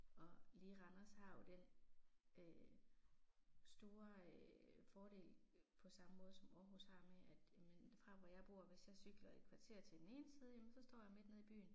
Og lige Randers har jo den øh store øh fordel på samme måde som Aarhus har med at jamen fra hvor jeg bor hvis jeg cykler et kvarter til den ene side jamen så står jeg midt nede i byen